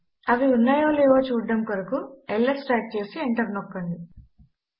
అవి ఉన్నాయో లేవో చూడడము కొరకు ల్స్ టైప్ చేసి ఎంటర్ నొక్కండి